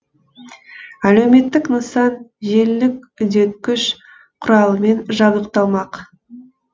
әлеуметтік нысан желілік үдеткіш құралымен жабдықталмақ